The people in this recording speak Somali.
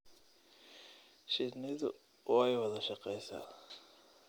Shinnidu way wada shaqeysaa.